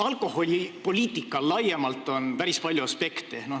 Alkoholipoliitikal laiemalt on päris palju aspekte.